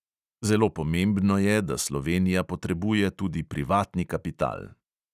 Zelo pomembno je, da slovenija potrebuje tudi privatni kapital.